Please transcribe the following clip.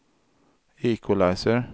equalizer